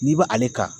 N'i bɛ ale kan